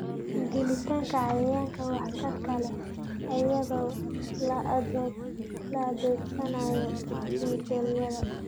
Dilitaanka cayayaanka waxtarka leh iyadoo la adeegsanayo kiimikooyin.